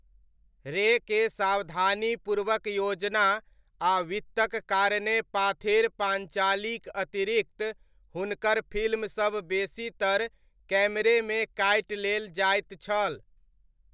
रे के सावधानीपूर्वक योजना आ वित्तक कारणेँ पाथेर पाञ्चालीक अतिरिक्त हुनकर फिल्मसब बेसीतर कैमरेमे काटि लेेल जाइत छल।